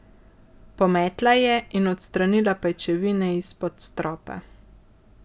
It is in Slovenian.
Pometla je in odstranila pajčevine izpod stropa.